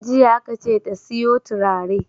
Jiya aka ce ta siyo turare!